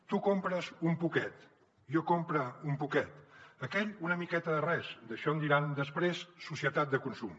tu compres un poquet jo compre un poquet aquell una miqueta de res d’això en diran després societat de consum